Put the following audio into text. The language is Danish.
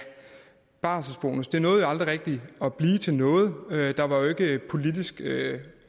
barselsbonus nåede jo aldrig rigtig at blive til noget der var jo ikke politisk